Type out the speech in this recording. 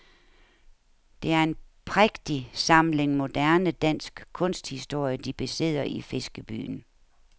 Det er en prægtig samling moderne dansk kunsthistorie de besidder i fiskebyen.